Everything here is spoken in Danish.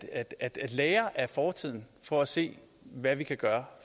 at lære af fortiden for at se hvad vi kan gøre